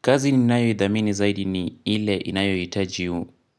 Kazi ni nayo idhamini zaidi ni ile inayo itaji